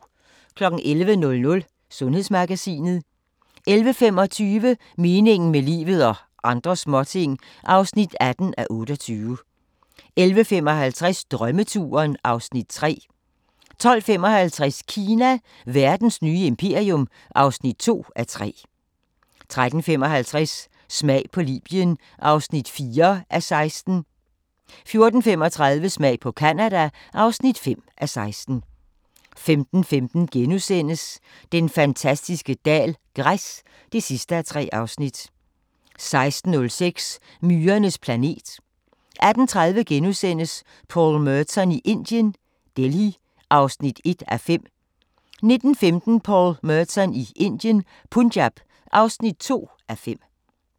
11:00: Sundhedsmagasinet 11:25: Meningen med livet – og andre småting (18:28) 11:55: Drømmeturen (Afs. 3) 12:55: Kina – verdens nye imperium (2:3) 13:55: Smag på Libyen (4:16) 14:35: Smag på Canada (5:16) 15:15: Den fantastiske dal - græs (3:3)* 16:05: Myrernes planet 18:30: Paul Merton i Indien - Delhi (1:5)* 19:15: Paul Merton i Indien - Punjab (2:5)